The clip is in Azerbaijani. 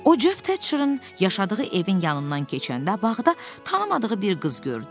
O Ceff Tetcherin yaşadığı evin yanından keçəndə bağda tanımadığı bir qız gördü.